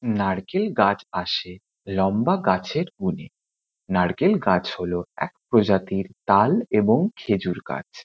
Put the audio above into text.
নারকেল গাছ আসে লম্বা গাছের কোণে। নারকেল গাছ হলো এক প্রজাতির তাল এবং খেজুর গাছ।